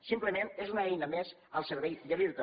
simplement és una eina més al servei de l’irta